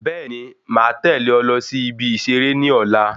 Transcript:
Bẹẹni, máa tẹlé ọ lọ sí ibi iṣere ní ọ̀la